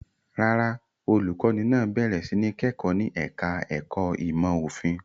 Rárá, olùkọ́ní náà bẹ̀rẹ̀ sí ní kẹ́kọ̀ọ́ ní ẹ̀ka-ẹ̀kọ́ ìmọ̀-òfin.